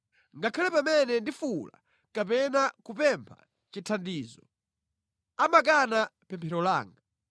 Ngakhale pamene ndifuwula kapena kupempha chithandizo, amakana pemphero langa.